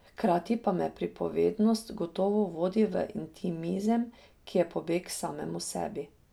Hkrati pa me pripovednost gotovo vodi v intimizem, ki je pobeg k samemu sebi.